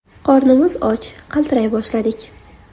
Qornimiz och, qaltiray boshladik.